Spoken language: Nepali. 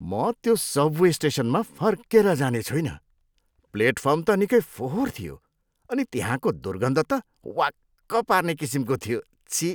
म त्यो सबवे स्टेसनमा फर्केर जाने छुइनँ। प्लेटफर्म त निकै फोहोर थियो अनि त्यहाँको दुर्गन्ध त वाक्क पार्ने किसिमको थियो, छिः।